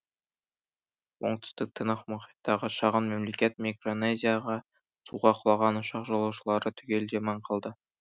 оңтүстік тынық мұхиттағы шағын мемлекет микронезияда суға құлаған ұшақ жолаушылары түгелдей аман қалды